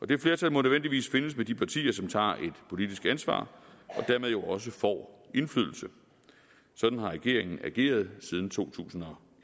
det flertal må nødvendigvis findes med de partier som tager et politisk ansvar og dermed jo også får indflydelse sådan har regeringen ageret siden to tusind og